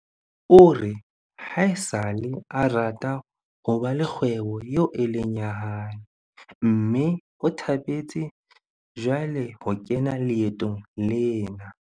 O re haesale a rata ho ba le kgwebo eo e leng ya hae mme o thabetse jwale ho kena leetong lena.